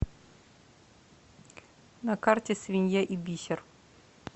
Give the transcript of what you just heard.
на карте свинья и бисер